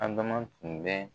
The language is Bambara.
Adama tun bɛ